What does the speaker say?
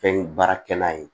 Fɛn baarakɛla ye